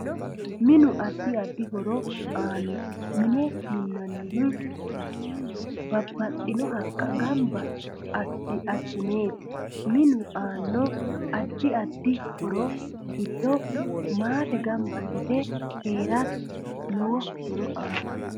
Minu addi addi horo aano mine minanihu babbaxino haqqa ganba asineeti minu aano addi addi horo giddo maate ganba yite heerate lowo horo aanno